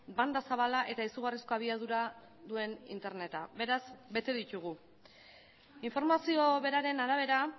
banda zabala eta izugarrizko abiadura duen interneta beraz bete ditugu informazio beraren arabera